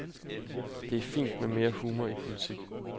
Det er fint med mere humor i politik.